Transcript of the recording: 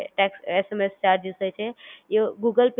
એમ Google Pay માં કોઈ જાતનો chargers નથી લેવામાં આવતો બિલકુલ ફ્રી ઓફ chargers હોય છે